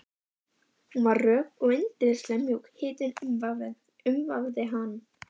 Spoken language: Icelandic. Hún var rök og yndislega mjúk, hitinn umvafði hann.